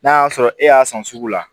N'a y'a sɔrɔ e y'a san sugu la